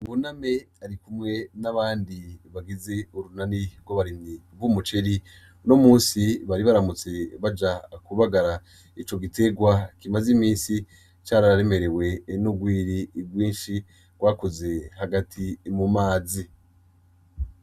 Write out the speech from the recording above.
Buname arikumwe n’abandi bagize urunani rw’abarimyi b’umuceri . Uno musi bari baramutse baja kubagara ico gitegwa kimaze imisi cararemerewe n’urwiri rwinshi rwakuze hagati mu mazi .